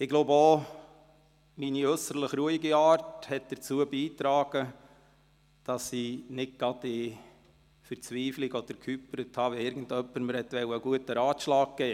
Ich glaube auch, dass meine ruhige Art dazu beigetragen hat, nicht gerade zu verzweifeln oder zu hyperventilieren, wenn mir jemand einen guten Rat geben wollte.